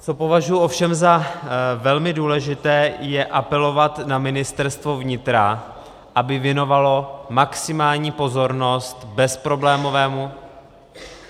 Co považuji ovšem za velmi důležité, je apelovat na Ministerstvo vnitra, aby věnovalo maximální pozornost bezproblémovému...